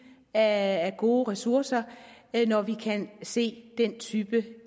af gode ressourcer når vi kan se den type